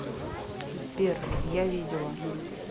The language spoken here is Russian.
сбер я видела